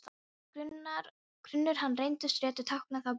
Ef grunur hann reyndist réttur táknaði það brottför.